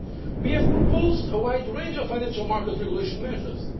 Mr Feio. We have proposed a wide range of financial market regulation measures.